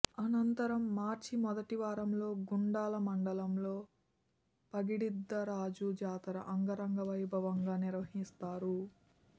అనంతరం మార్చి మొదటివారంలో గుండాల మండలంలో పగిడిద్దరాజు జాతర అంగరంగవైభ వంగా నిర్వహిస్తారు